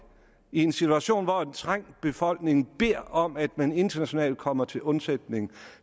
i en situation hvor en trængt befolkning beder om at man internationalt kommer til undsætning